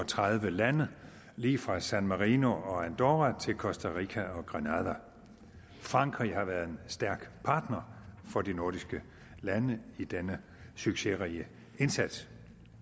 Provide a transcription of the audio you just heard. og tredive lande lige fra san marino og andorra til costa rica og granada frankrig har været en stærk partner for de nordiske lande i denne succesrige indsats